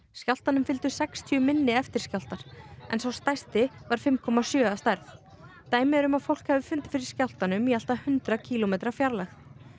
skjálftanum fylgdu um sextíu minni eftirskjálftar sá stærsti var fimm komma sjö að stærð dæmi eru um að fólk hafi fundið fyrir skjálftanum í allt að hundrað kílómetra fjarlægð